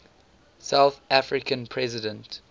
south african president